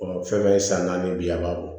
fɛn ye san naani biya o